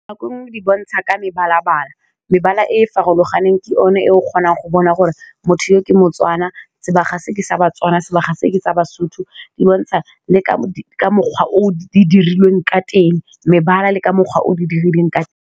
Nako nngwe di bontsha ka mebala bala mebala e e farologaneng ke one e o kgonang go bona gore motho yo ke moTswana sebaga se ke sa baTswana sebaga se ke tsa Basotho di bontsha le ka mokgwa o di dirilweng ka teng mebala le ka mokgwa o di dirilweng ka teng.